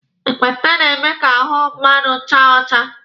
Ekpenta na-eme ka ahụ mmadụ chaa ọcha.